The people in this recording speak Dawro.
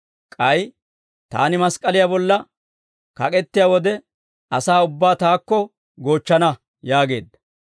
K'ay Taani mask'k'aliyaa bolla kak'ettiyaa wode, asaa ubbaa Taakko goochchana» yaageedda.